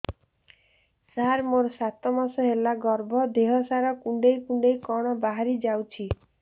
ସାର ମୋର ସାତ ମାସ ହେଲା ଗର୍ଭ ଦେହ ସାରା କୁଂଡେଇ କୁଂଡେଇ କଣ ବାହାରି ଯାଉଛି